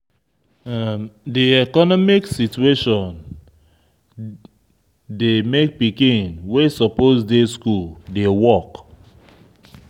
Di economic situation dey make pikin wey suppose dey school dey work